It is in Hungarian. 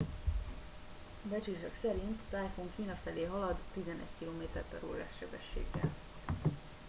becslések szerint a tájfun kína felé halad 11 km/órás sebességgel